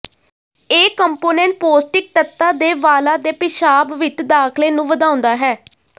ਇਹ ਕੰਪੋਨੈਂਟ ਪੌਸ਼ਟਿਕ ਤੱਤਾਂ ਦੇ ਵਾਲਾਂ ਦੇ ਪਿਸ਼ਾਬ ਵਿੱਚ ਦਾਖਲੇ ਨੂੰ ਵਧਾਉਂਦਾ ਹੈ